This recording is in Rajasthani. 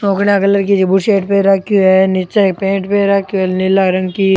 धोला कलर की सी बुसर्ट पहर राखीयो है निचे एक पेंट पहर राखीयो है नीला रंग की।